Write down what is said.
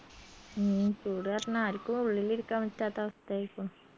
ഉം ചൂട് കാരണം ആരിക്കും ഉള്ളിലിരിക്കാൻ പറ്റാത്ത അവസ്ഥയായ് ഇപ്പൊ